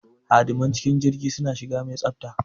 Hadiman cikin jirgi suna shiga mai tsafta.